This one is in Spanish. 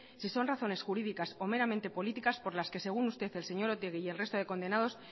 si son razones jurídicas o meramente políticas por las que según usted el señor otegi y el resto de condenados